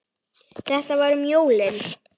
Þetta var um jólin.